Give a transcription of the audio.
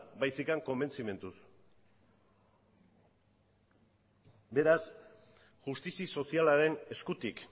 baizik konbentzimenduz beraz justizi sozialaren eskutik